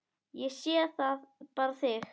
Ég sé bara þig!